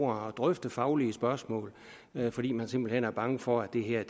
og drøfte faglige spørgsmål fordi man simpelt hen er bange for at det her